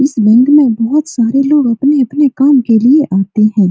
इस बैंक में बहुत सारे लोग अपने-अपने काम के लिए आते हैं।